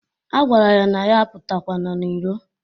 A gwara ya na ya apụtakwana n'ilo.